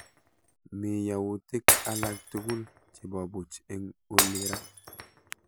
Mii yautik alak tugul chebobuch eng' olii raa